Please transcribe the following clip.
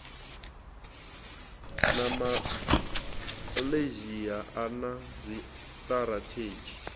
na malaysia a na zwitirathedzhi